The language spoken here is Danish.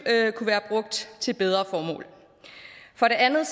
kunne være brugt til bedre formål for det andet